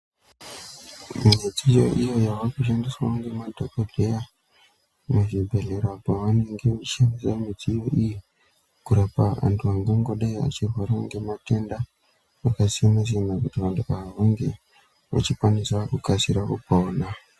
Midziyo iyo yavakushandiswa nemadhokodheya muzvibhedhlera pavanenge vechishandisa mudziyo iyi kurapa antu angangodai achirwara ngematenda akasiyana siyana Kuti vantu ava vange vechikwanisa kukasira kupona.